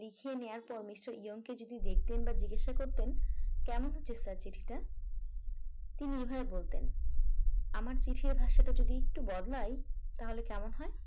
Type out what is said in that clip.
লিখে নেওয়ার পর মিস্টার ইয়ং কে যদি দেখতেন বা জিজ্ঞাসা করতেন কেমন হয়েছে স্যার চিঠিটা তিনি নির্ভয় বলতেন আমার চিঠির ভাষাটা যদি একটু বদলায় তাহলে কেমন হয়